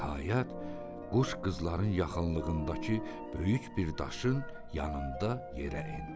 Nəhayət, quş qızların yaxınlığındakı böyük bir daşın yanında yerə endi.